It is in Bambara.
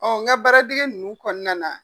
Ɔ n ka baara dege ninnu kɔnɔna na.